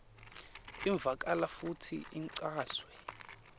ivakala futsi ichazwe